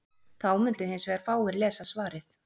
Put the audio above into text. Þá mundu hins vegar fáir lesa svarið.